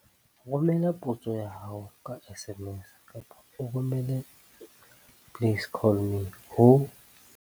Romela potso ya hao ka SMS kapa o romele 'please call me' ho